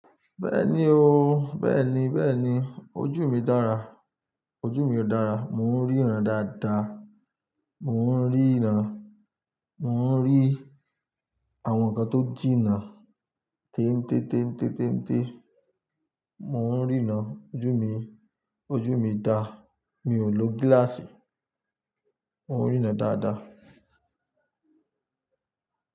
Bẹ́ẹ̀ni o, bẹ́ẹ̀ni, bẹ́ẹ̀ni. Ojú mi dára, ojú mi dára. Mò ń ríran dáadáa. Mò ń ríran, mò ń rí àwọn nǹkan tó jìnnà. Tẹ́ntẹ́, tẹ́ntẹ́, tẹ́ntẹ́. Mò ń ríran, ojú mi, ojú mi dá. Mi ò lo gíláàsì, mò ń ríran dáadáa.